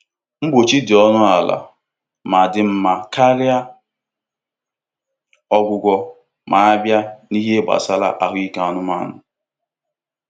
Mgbochi dị ọnụ ala ma dị mma karịa ọgwụgwọ ma a bịa n'ihe gbasara ahụike anụmanụ.